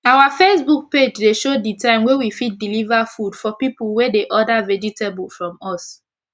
our facebook page dey show d time wey we fit deliver food for pipu wey dey order vegetable from us